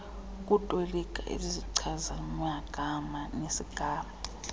ukutolika izichazimagama nesigama